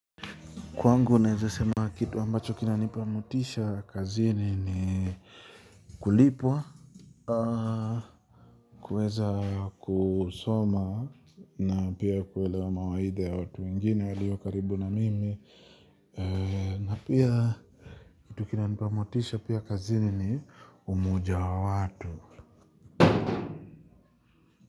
Kwangu, naezasema kitu ambacho kinanipa motisha kazini ni, kulipwa, kuweza kusoma na pia kuelewa mawaidha ya watu wengine walio karibu na mimi, na pia, kitu kinanipa motisha pia kazini ni, umoja wa watu.